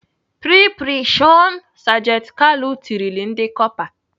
"Pre pre shọn! " sajenti Kalu tirile ndị Kọpa.